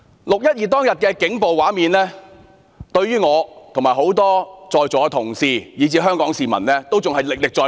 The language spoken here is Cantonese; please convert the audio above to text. "六一二"當日的警暴畫面，對於我及在座多位同事以至香港市民均歷歷在目。